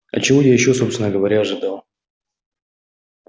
а чего ещё я собственно говоря ожидал